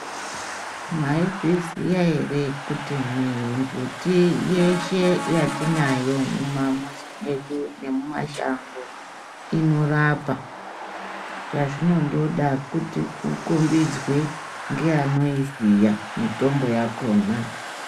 Mwaizviziya ere kuti mimbiti yeshe yatinayo mumamuzi mwedu nemumashango inorapa. Chazvinondoda kuti ukombidzwe ngeanoiziya mitombo yakona.